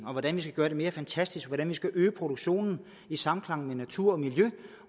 om hvordan vi skal gøre det mere fantastisk hvordan vi skal øge produktionen i samklang med natur og miljø